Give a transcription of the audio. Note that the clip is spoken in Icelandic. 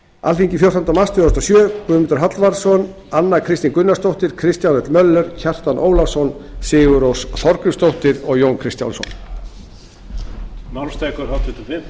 alþingi fjórtánda mars tvö þúsund og sjö guðmundur hallvarðsson anna kristín gunnarsdóttir kristján l möller kjartan ólafsson sigurrós þorgrímsdóttir og jón kristjánsson